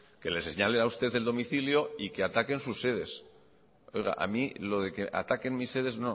que les señalen a usted el domicilio y que ataquen sus sedes oiga a mí lo de que ataquen mi sedes